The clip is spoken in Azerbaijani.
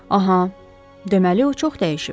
Aha, deməli o çox dəyişib.